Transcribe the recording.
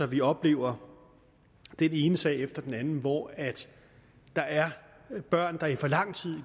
vi oplever den ene sag efter den anden hvor der er børn der i for lang tid